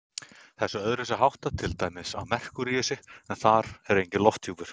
Þessu er öðruvísi háttað til dæmis á Merkúríusi, en þar er enginn lofthjúpur.